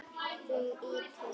Hún ýtir